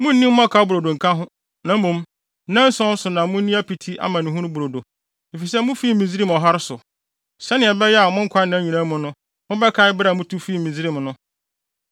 Munnni mmɔkaw brodo nka ho; na mmom, nnanson so na munni apiti amanehunu brodo, efisɛ mufii Misraim ɔhare so, sɛnea ɛbɛyɛ a mo nkwanna nyinaa mu no mobɛkae bere a mutu fii Misraim no.